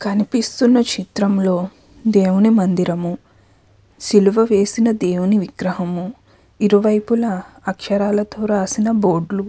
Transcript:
కనిపిస్తున్న చిత్రంలో దేవుని మందిరము సిలువ వేసిన దేవుని విగ్రహం ఇరువైపులా అక్షరాలతో రాసిన బోర్లు --